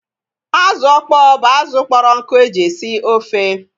Azụ ọkpọ bụ azụ kpọrọ nkụ eji esi ofe